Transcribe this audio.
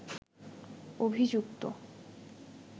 অভিযুক্ত